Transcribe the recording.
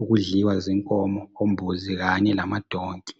ukudliwa zinkomo, ombuzi kanye lamadonki.